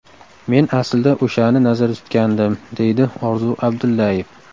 Men aslida o‘shani nazarda tutgandim, deydi Orzu Abdullayev.